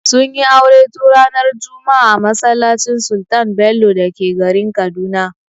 Sun yi aure tun ranar juma'a a masallacin Sultan Bello da ke garin Kaduna.